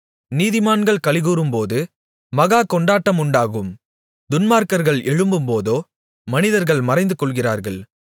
நீதிமான்கள் களிகூரும்போது மகா கொண்டாட்டம் உண்டாகும் துன்மார்க்கர்கள் எழும்பும்போதோ மனிதர்கள் மறைந்துகொள்கிறார்கள்